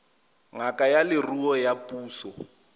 ngaka ya leruo ya puso